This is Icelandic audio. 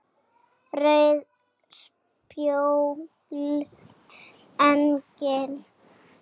Rauð spjöld: Engin.